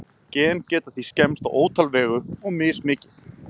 Gen geta því skemmst á ótal vegu, og mismikið.